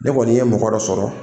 Ne kɔni ye mɔgɔ dɔ sɔrɔ